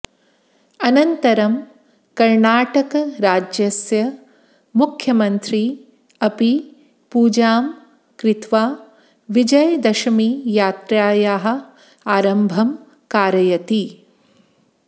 अनन्तरम् कर्णाटकराज्यस्य मुख्यमन्त्री अपि पूजां कृत्वा विजयदशमीयात्रायाः आरम्भं कारयति